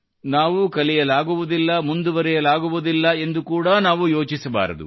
ನಾವು ಕಲಿಯಲಾಗುವುದಿಲ್ಲ ಮುಂದುವರಿಯಲಾಗುವುದಿಲ್ಲ ಎಂದು ಕೂಡಾ ನಾವು ಯೋಚಿಸಬಾರದು